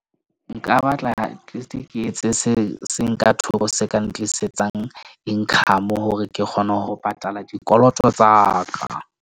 Nka batla at least ke etse se seng ka thoko se ka ntlisetsang income hore ke kgone ho patala dikoloto tsa ka.